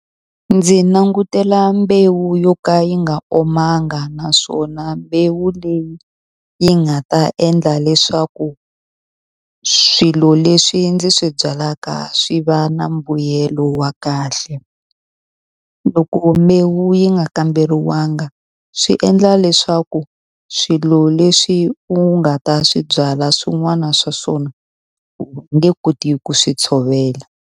Ndzi langutela mbewu yo ka yi nga omanga naswona mbewu leyi yi nga ta endla leswaku swilo leswi ndzi swi byalaka swi va na mbuyelo wa kahle loko mbewu yi nga kamberiwanga swi endla leswaku swilo leswi u nga ta swi byala swin'wana swa swona u nge koti ku swi tshovela.